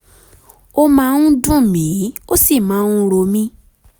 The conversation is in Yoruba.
ó máa ń dùn mií ó sì máa ń ro mí